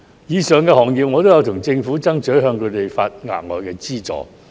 就上述行業，我曾向政府爭取，為他們提供額外資助。